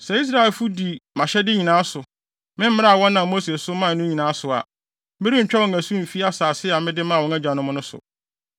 Sɛ Israelfo di mʼahyɛde nyinaa so, me mmara a wɔnam Mose so mae no nyinaa so a, merentwa wɔn asu mfi asase a mede maa wɔn agyanom no so.”